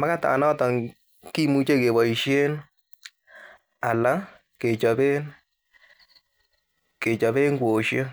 ,makatanoton kimuche keboisien ana kechoben kwosiek .